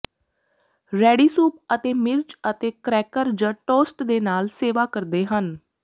ready soup ਅਤੇ ਮਿਰਚ ਅਤੇ ਕਰੈਕਰ ਜ ਟੋਸਟ ਦੇ ਨਾਲ ਸੇਵਾ ਕਰਦੇ ਹਨ